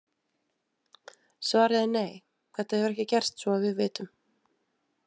Svarið er nei, þetta hefur ekki gerst svo að við vitum.